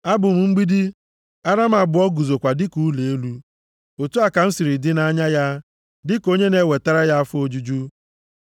Abụ m mgbidi, ara m abụọ guzokwa dịka ụlọ elu. Otu a ka m siri dị nʼanya ya dịka onye na-ewetara ya afọ ojuju.